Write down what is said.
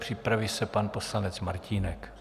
Připraví se pan poslanec Martínek.